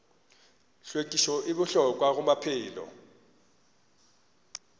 hlwekišo e bohlokwa go maphelo